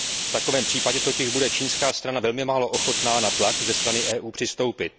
V takovém případě totiž bude čínská strana velmi málo ochotna na tlak ze strany EU přistoupit.